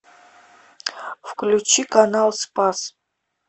включи канал спас